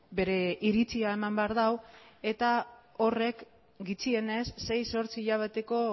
bere iritzia eman behar du eta horrek gutxienez sei zortzi hilabeteko